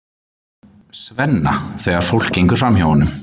Svenna þegar fólk gengur framhjá honum.